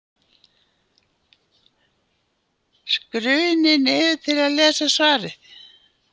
Skrunið niður til að lesa svarið.